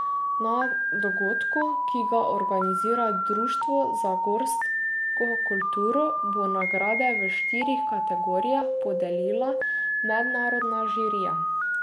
Na dogodku, ki ga organizira Društvo za gorsko kulturo, bo nagrade v štirih kategorijah podelila mednarodna žirija.